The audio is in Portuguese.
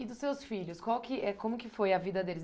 E dos seus filhos, qual que eh como que foi a vida deles?